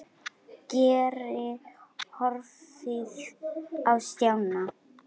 Geir horfði á Stjána.